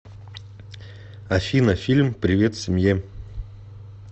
афина фильм привет семье